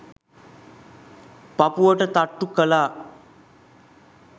පපුවට තට්ටු කළා.